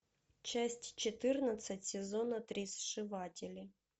часть четырнадцать сезона три сшиватели